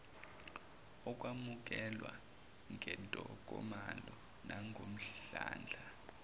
ukwamukelwa ngentokomalo nangomdlandla